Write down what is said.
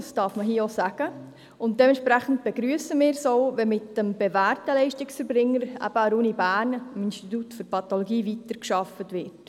Dies darf man hier sagen, und entsprechend begrüssen wir auch, wenn mit dem bewährten Leistungserbringer, eben der Universität Bern beziehungsweise mit dem Institut für Pathologie, weitergearbeitet wird.